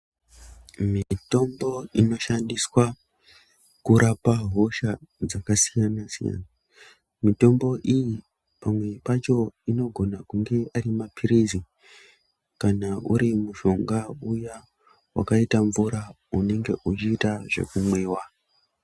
Mitombo inoshandiswa kurapa hosha dzakasiyana siyana mitombo iyi pamwe pacho inogona kunge ari mapirizi kana uri mushonga uya wakaita mvura unenge uchiita zveku mwiwa.